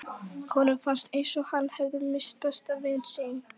Honum fannst eins og hann hefði misst besta vin sinn.